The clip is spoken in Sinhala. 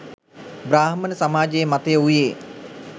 බ්‍රාහ්මණ සමාජයේ මතය වූයේ